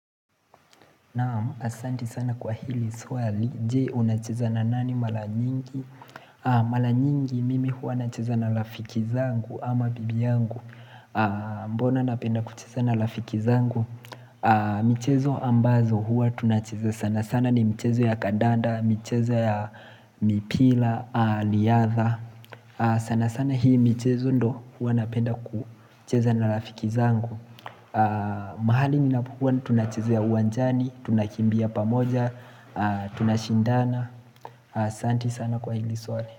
Naam, asanti sana kwa hili swali. Jee, unacheza na nani malanyingi? Malanyingi, mimi huwa nacheza na lafikizangu ama bibi yangu. Mbona napenda kucheza na lafikizangu? Michezo ambazo huwa tunacheza sana sana. Sana ni mchezo ya kadanda, michezo ya mipila, liyadha. Sana sana hii michezo ndo huwa napenda kucheza na lafikizangu. Mahali ninapokuwa tunachezea uwanjani Tunakimbia pamoja Tunashindana aSanti sana kwa ili swali.